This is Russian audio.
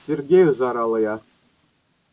сергею заорала я